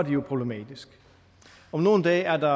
jo problematisk om nogle dage er der